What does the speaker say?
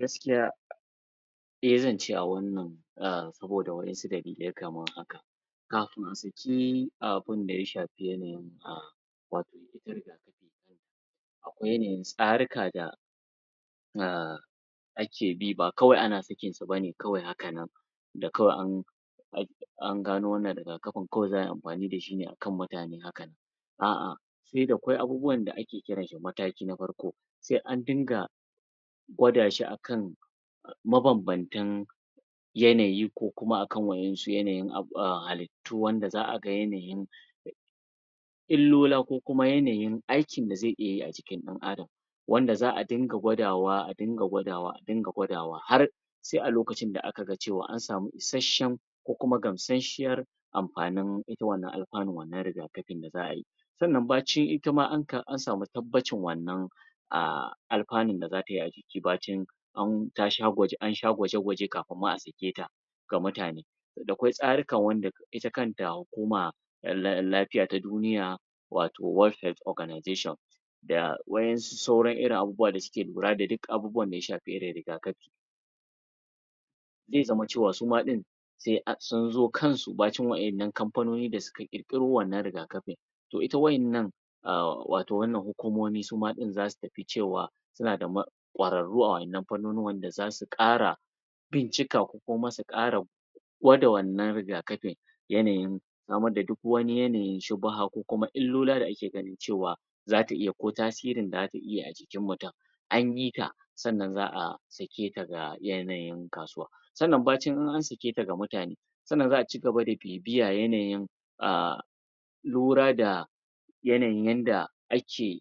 Gaskiya e zance a wannan sabida wan'yansu dalilai kamar haka: kafin a saki abinda ya shafi yanayin a wato ita rigakafin kanta akwai yanayiin tsarika da da ake bi ba kawai ana sakinsu ba ne kawai hakan nan da kawai an an ana gano wannan rigakafin kawai za ai amfani da shi akan mutane haka nan a a da kwai abubuwan da ake kira shi mataki na farko sai an dinga gwada shi akan mabambantan yanayi ko kuma akan wa'yansu yanayin ab a ha halittu wanda za a ga yanayin illola ko kuma yanayin aikin da zai iya yi a jikin ɗan adam wanda za a dinga gwadawa a dinga gwadawa har sai a lokacin da aka cewa an samu isasshen ko kuma gamsasshen amfanin ita wannan alfanun wannan rigakafi da za ai sannan bacin ita ma an samu tabbacin wannan a alfanun daz a tai a jikin bacin ta sha an sha gwaje gwaje kafin ma a saketa ga mutane da kwai tsarika wanda ita kanta hukuma lafiya ta duniya wato World Health Ogranization da wa'yensu sauran irin abubuwa da suke lura da duk abubuwan da ya shafi irin rigakafi zai zama cewa suma ɗin sai a sun zo kansu nacin wa'yannan kamfanoni da suka ƙirƙiro wannan riga kafin to ita wa'yanna a wato wannan hukumomi su ma ɗin za su tafi cewa suna da ma kwararru a wannan fannonin wanda za su ƙara bincika ko kuma su ƙara gwada wannan rigakafi yanayin game da duk wani yanayin shubuha ko kuma illola da ake ganin cewa zata iya ko tasirin da zata iya a jikin mutum an bi ta sannan za a saketa ga yanayin kasuwa sannan bacin an saketa ga mutane sannan za a ci gaba bibiya yanayin a lura da yanayin yanda ake